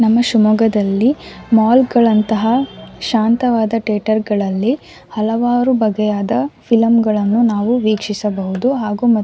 ನಮ್ಮ ಶಿಮೊಗ್ಗದಲ್ಲಿ ಮಾಲ್ ಗಳಂತಹ ಶಾಂತವಾದ ಥಿಯೇಟರ್ ಗಳಲ್ಲಿ ಹಲವಾರು ಬಗೆಯಾದ ಫಿಲಂಗಳನ್ನು ನಾವು ವೀಕ್ಷಿಸಬಹುದು ಹಾಗು ಮತ್ತು --